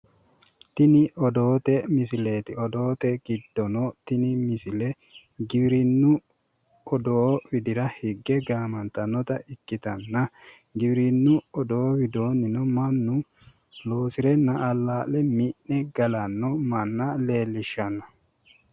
Tini odoote misileeti. Odoote giddono tini misile giwirinnu odoo widira higge gaamantannoha ikkitanna giwirinnu odoo widoonnino mannu loosirenna alla'le mi'ne galanno manna leellishshanno.